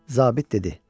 Zabir dedi: